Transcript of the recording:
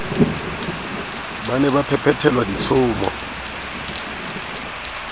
ba ne ba phethelwa ditshomo